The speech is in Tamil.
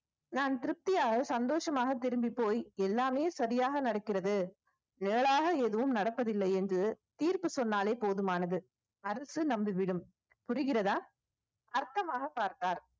நான் திருப்தியாக சந்தோஷமாக திரும்பிப் போய் எல்லாமே சரியாக நடக்கிறது நிழலாக எதுவும் நடப்பதில்லை என்று தீர்ப்பு சொன்னாலே போதுமானது அரசு நம்பி விடும் புரிகிறதா அர்த்தமாக பார்த்தார்